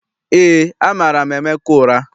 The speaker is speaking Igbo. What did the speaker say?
EÉ, amara m Emeka ụra.